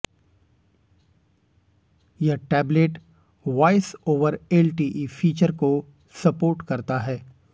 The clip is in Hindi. यह tablet voice over LTE feature को सपोर्ट करता है